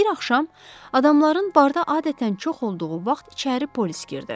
Bir axşam, adamların barda adətən çox olduğu vaxt içəri polis girdi.